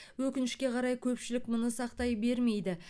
өкінішке қарай көпшілік мұны сақтай бермейді